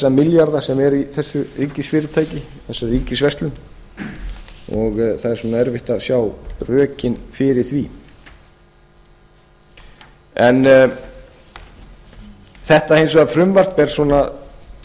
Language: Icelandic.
milljarða sem eru í þessu ríkisfyrirtæki þessari ríkisverslun og það er erfitt að sjá rökin fyrir því þetta frumvarp er hins